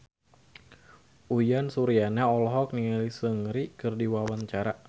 Uyan Suryana olohok ningali Seungri keur diwawancara